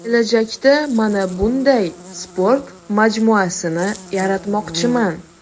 Kelajakda mana bunday sport majmuasini yaratmoqchiman”.